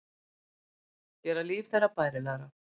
Gera líf þeirra bærilegra.